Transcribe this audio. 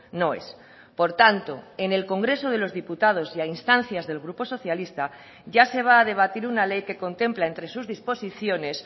noes por tanto en el congreso de los diputados y a instancias del grupo socialista ya se va a debatir una ley que contempla entre sus disposiciones